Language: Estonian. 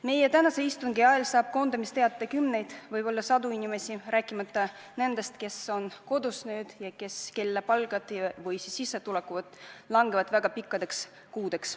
Meie tänase istungi ajal saab koondamisteate kümneid, võib-olla sadu inimesi, rääkimata nendest, kes on kodus ja kelle palk või sissetulek langeb väga pikkadeks kuudeks.